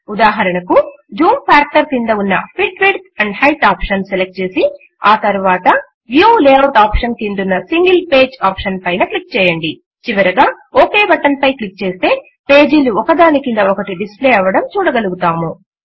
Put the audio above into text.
ఉదాహరణకు zoom factor క్రింద ఉన్న fit width and height option select చేసి ఆ తరువాత వ్యూ లేఆఉట్ ఆప్షన్ క్రిందున్న సింగిల్ పేజ్ ఆప్షన్ పైన క్లిక్ చేయండి చివరిగా ఒక్ బటన్ పై క్లిక్ చేస్తే పేజీలు ఒకదాని క్రింద ఒకటి డిస్ప్లే అవడం చూడగలుగుతాము